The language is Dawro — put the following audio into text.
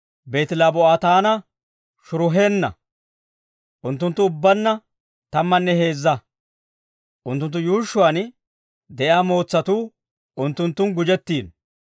Beeti-Labaa'ootanne Sharuheena. Unttunttu ubbaanna tammanne heezza; unttunttu yuushshuwaan de'iyaa mootsatuu unttunttun gujjettiino.